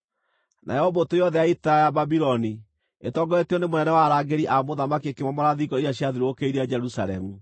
Nayo mbũtũ yothe ya ita ya Babuloni, ĩtongoretio nĩ mũnene wa arangĩri a mũthamaki ĩkĩmomora thingo iria ciathiũrũrũkĩirie Jerusalemu.